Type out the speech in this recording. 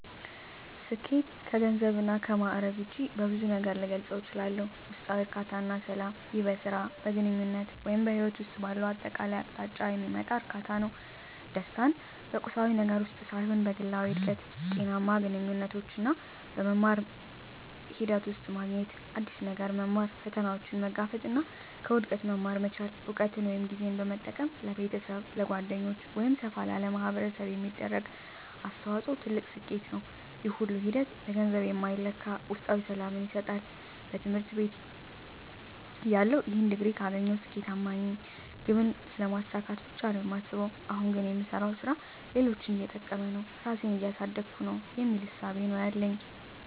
ስኬት ከገንዘብ እና ከማእረግ ውጭ በብዙ ነገር ልገልፀው እችላልሁ። ውስጣዊ እርካታ እና ሰላም ይህ በሥራ፣ በግንኙነት ወይም በሕይወት ውስጥ ባለው አጠቃላይ አቅጣጫ የሚመጣ እርካታ ነው። ደስታን በቁሳዊ ነገር ውስጥ ሳይሆን በግላዊ እድገት፣ ጤናማ ግንኙነቶች እና በመማር ሂደት ውስጥ ማግኘት። አዲስ ነገር መማር፣ ፈተናዎችን መጋፈጥ እና ከውድቀት መማር መቻል። እውቀትን ወይም ጊዜን በመጠቀም ለቤተሰብ፣ ለጓደኞች ወይም ሰፋ ላለ ማኅበረሰብ የሚደረግ አስተዋጽኦ ትልቅ ስኬት ነው። ይህ ሁሉ ሂደት በገንዘብ የማይለካ ውስጣዊ ሰላምን ይሰጣል። በትምህርት ቤትተያለሁ "ይህን ዲግሪ ካገኘሁ ስኬታማ ነኝ" ግብን ስለማሳካት ብቻ ነው የማስበው። አሁን ግን "የምሰራው ሥራ ሌሎችን እየጠቀመ ነው? ራሴን እያሳደግኩ ነው?" የሚል እሳቤ ነው ያለኝ።